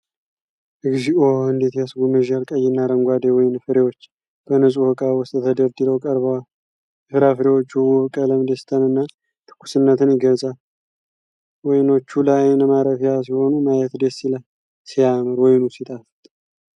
እግዚኦ! እንዴት ያስጎመዣል! ቀይና አረንጓዴ ወይን ፍሬዎች በንጹህ እቃ ውስጥ ተደርድረው ቀርበዋል። የፍራፍሬዎቹ ውብ ቀለም ደስታንና ትኩስነትን ይገልጻል። ወይኖቹ ለአይን ማረፊያ ሲሆኑ ማየት ደስ ይላል። ሲያምር! ወይኑ ሲጣፍጥ!